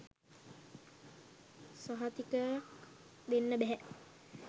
සහතිකයක් දෙන්න බැහැ.